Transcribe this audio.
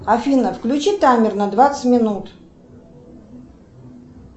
афина включи таймер на двадцать минут